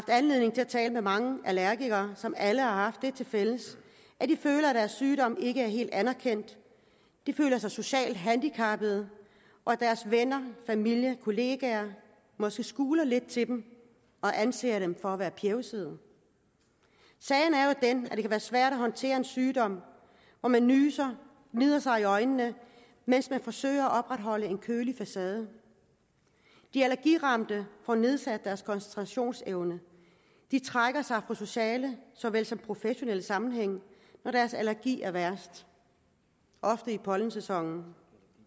anledning til at tale med mange allergikere som alle har haft det til fælles at de føler at deres sygdom ikke er helt anerkendt de føler sig socialt handicappede og at deres venner familie kollegaer måske skuler lidt til dem og anser dem for at være pjevsede sagen er jo den det kan være svært at håndtere en sygdom hvor man nyser gnider sig i øjnene mens man forsøger at opretholde en kølig facade de allergiramte får nedsat deres koncentrationsevne de trækker sig fra sociale så vel som professionelle sammenhænge når deres allergi er værst ofte i pollensæsonen